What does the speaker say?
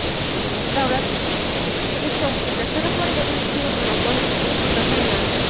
Davlat statistika qo‘mitasi rahbariga birinchi o‘rinbosar tayinlandi.